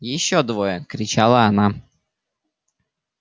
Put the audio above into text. ещё двое кричала она